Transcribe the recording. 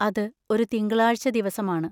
അത് ഒരു തിങ്കളാഴ്ച ദിവസമാണ്.